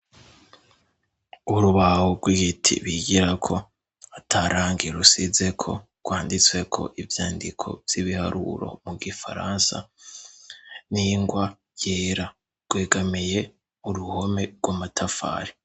Urubaho rw'igiti bigirako atarangi rusizeko, rwanditsweko ivyandiko vy'ibiharuro mu gifaransa n'ingwa yera, rwegamiye uruhome rw'amatafari.